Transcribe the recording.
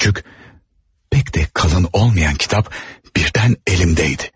Və küçük, pek də qalın olmayan kitab birdən əlimdəydi.